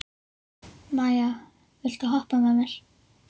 Maia, viltu hoppa með mér?